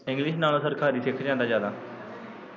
english ਨਾਲੋਂ ਸਰਕਾਰੀ ਸਿੱਖ ਜਾਂਦਾ ਜਿਆਦਾ।